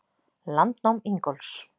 Landnám Ingólfs.